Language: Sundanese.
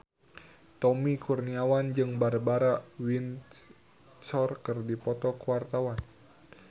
Tommy Kurniawan jeung Barbara Windsor keur dipoto ku wartawan